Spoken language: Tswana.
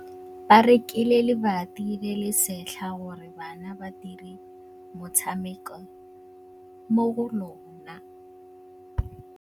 Ba rekile lebati le le setlha gore bana ba dire motshameko mo go lona.